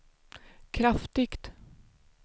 kraftigt